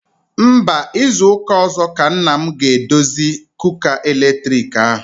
Mba, izu ụka ọzọ ka nna m ga-edozi kuka eletriki ahụ.